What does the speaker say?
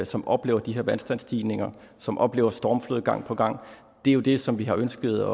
som oplever de her vandstandsstigninger som oplever stormflod gang på gang det er jo det som vi har ønsket